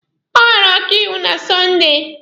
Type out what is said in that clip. Ọ hụrụ ọkaiwu na Sọnde.